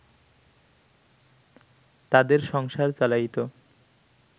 তাদের সংসার চালাইত